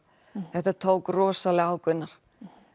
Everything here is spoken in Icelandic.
þetta tók rosalega á Gunnar